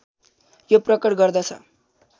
यो प्रकट गर्दछ